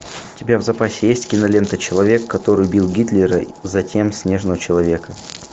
у тебя в запасе есть кинолента человек который убил гитлера затем снежного человека